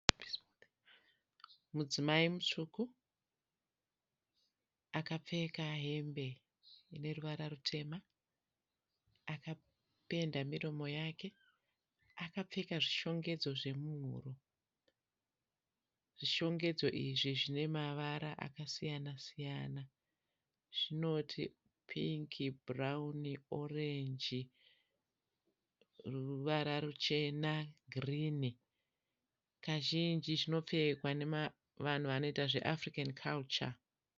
Mudzimai mutsvuku akapfeka hembe ine ruvara rutema akapenda miromo yake. Akapfeka zvishongedzo zvemuhuro. Zvishongedzo izvi zvine mavara akasiyana siyana zvinoti pink, bhurauni ,orange ruvara ruchena ne girinhi . Kazhinji zvinopfekwa nevanoita zve African culture .